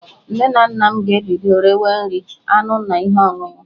Nne na nna m ga-ebido rewe nri, anụ na ihe ọṅụṅụ